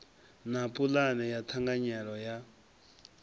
na pulane ya ṱhanganelano ya